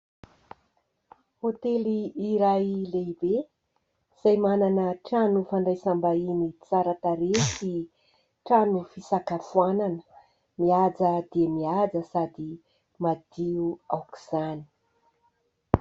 Hotely iray lehibe, izay manana trano fandraisam-bahiny tsara tarehy sy trano fisakafoanana mihaja dia mihaja, sady madio aok'izany.